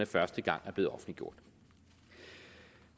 første gang er blevet offentliggjort